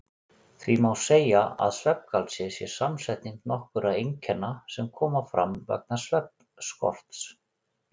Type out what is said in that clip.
Því má segja að svefngalsi sé samsetning nokkurra einkenna sem koma fram vegna svefnskorts.